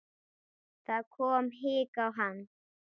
Það kom hik á hann.